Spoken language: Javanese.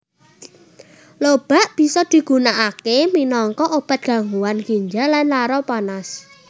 Lobak bisa digunakake minangka obat gangguan ginjal lan lara panas